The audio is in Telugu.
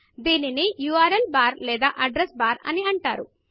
దానిని ఉర్ల్ బార్ లేదా అడ్రెస్ అడ్రస్ బార్ అని అంటారు